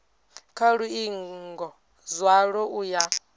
kha luingo zwalo u ya